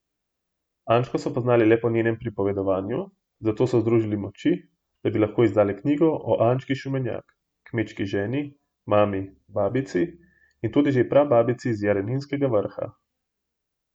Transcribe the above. Ančko so poznali le po njenem pripovedovanju, zato so združili moči, da bi lahko izdali knjigo o Ančki Šumenjak, kmečki ženi, mami, babici in tudi že praprababici z Jareninskega Vrha.